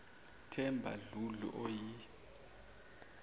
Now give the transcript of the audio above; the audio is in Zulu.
themba dludlu oyi